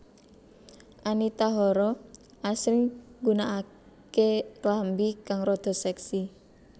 Anita Hara asring nggunakake klambi kang rada seksi